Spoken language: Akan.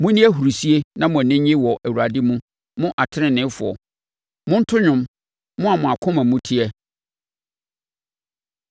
Monni ahurisie na mo ani nnye wɔ Awurade mu, mo teneneefoɔ; monto dwom, mo a mo akoma mu teɛ.